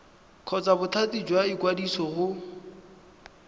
kgotsa bothati jwa ikwadiso go